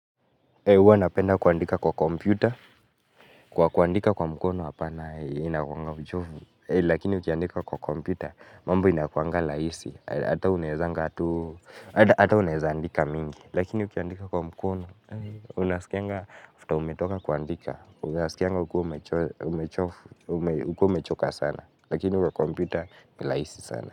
Uwa napenda kuandika kwa computer, kuandika kwa mkono hapana inakuanga uchovu. Lakini ukiandika kwa computer, mambo inakuanga laisi ata unaezangatu, ata unaeza andika mingi lakini ukiandika kwa mkono, unasikianga afterumetoka kuandika unasikianga ukiwa umechofu, ukiwa umechoka sana lakini kwa computer ni laisi sana.